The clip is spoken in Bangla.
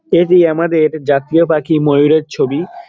এটি আমাদের জাতীয় পাখি ময়ুরের ছবি।